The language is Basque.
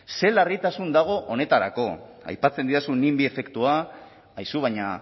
zer larritasun dago honetarako aipatzen didazu nimby efektua aizu baina